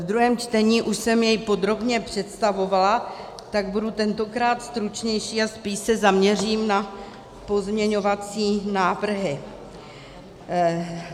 Ve druhém čtení už jsem jej podrobně představovala, tak budu tentokrát stručnější a spíš se zaměřím na pozměňovací návrhy.